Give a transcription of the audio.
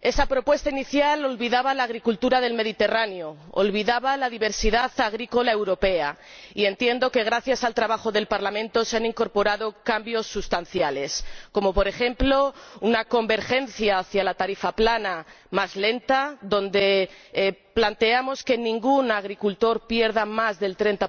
Esa propuesta inicial olvidaba la agricultura del Mediterráneo, olvidaba la diversidad agrícola europea y, entiendo que gracias al trabajo del Parlamento, se han incorporado cambios sustanciales, como por ejemplo una convergencia hacia la tarifa plana, más lenta, en la que planteamos que ningún agricultor pierda más del 30